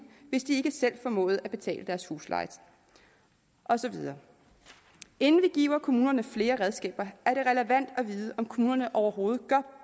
hvis de ikke selv formåede at betale deres husleje og så videre inden vi giver kommunerne flere redskaber er det relevant at vide om kommunerne overhovedet